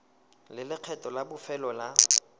le lekgetho la bofelo la